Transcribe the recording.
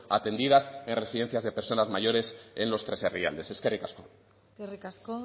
atendidas en residencias de personas mayores en los tres herrialdes eskerrik asko eskerrik asko